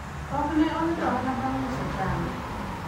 ok ne oyudo ohala bang' uso chambe